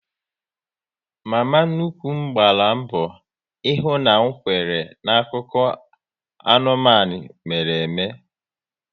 Mama nnukwu m gbara mbọ ihu na m kwere n'akụkọ anụmanụ mere ime